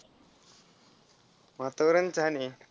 वातावरण छान आहे.